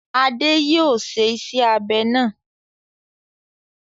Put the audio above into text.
Adé yóò ṣe iṣẹ́-abẹ náà.